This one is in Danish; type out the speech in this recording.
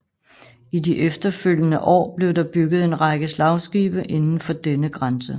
I de efterfølgende år blev der bygget en række slagskibe indenfor denne grænse